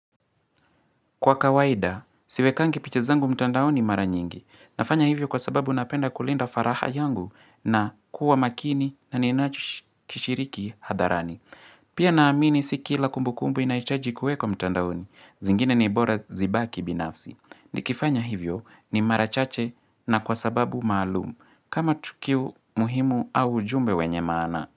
Kwa kawaida, siwekangi picha zangu mtandaoni mara nyingi. Nafanya hivyo kwa sababu napenda kulinda faragha yangu na kuwa makini na ninashiriki hadharani. Pia naamini si kila kumbukumbu inahitaji kuekwa mtandaoni. Zingine ni bora zibaki binafsi. Nikifanya hivyo ni mara chache na kwa sababu maalumu. Kama tukio muhimu au ujumbe wenye maana.